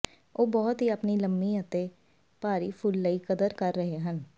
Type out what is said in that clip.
ਉਹ ਬਹੁਤ ਹੀ ਆਪਣੀ ਲੰਮੀ ਅਤੇ ਾਰੀ ਫੁੱਲ ਲਈ ਕਦਰ ਕਰ ਰਹੇ ਹਨ